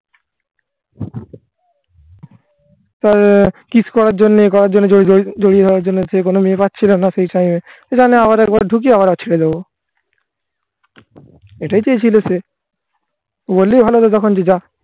তা কিস করার জন্য এ করার জন্য জড়িয়ে ধরার জন্য সে কোন মেয়ে পাচ্ছিল না সেই time. এখানে আবার একবার ঢুকি আবার ছেড়ে দেবো এটাই চেয়েছিল সে. কিন্তু বললেই ভালো হতো তখন থেকে যা